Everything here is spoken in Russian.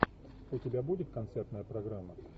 у тебя будет концертная программа